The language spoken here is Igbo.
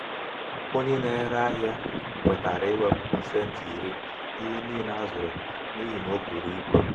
onye na-ere ahịa kwetara iwepụ pasenti iri n'ihe niile a zụrụ n'ihi na buru ibu.